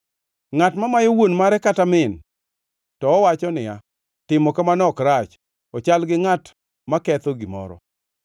Ngʼat mamayo wuon mare kata min, to owacho niya, “Timo kamano ok rach,” ochal gi ngʼat maketho gimoro.